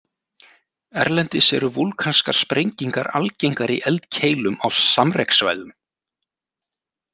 Erlendis eru vúlkanskar sprengingar algengar í eldkeilum á samrekssvæðum.